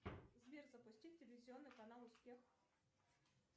сбер запустить телевизионный канал успех